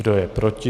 Kdo je proti?